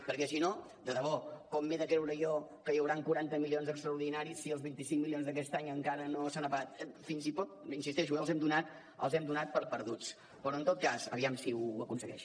perquè si no de debò com m’he de creure jo que hi hauran quaranta milions extraordinaris si els vint cinc milions d’aquest any encara no s’han pagat fins i tot hi insisteixo eh els hem donat per perduts però en tot cas aviam si ho aconsegueix